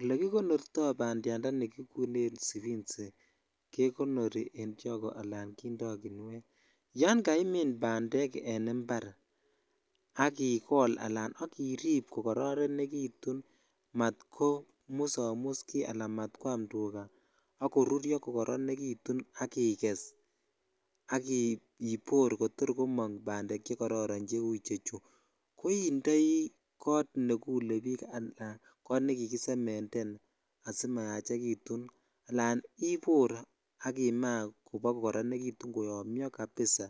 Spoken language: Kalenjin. Oke kikonorto bandya ndani kikuren sibensi jekonori en chogoo ala kindoo kinuet yan kaimin bandek en impar ak ikol ala ak irip kokoronekitun matko musomus ki al matkwam tukaa sk koruryo kokoronrkitun ak iges ak ibor kotor komong bandek chekorroron che chu ko indii kot nekilebik ala nekikisemend3n asimayachekitu alan ibor sk imaa koba koyomyo jabisa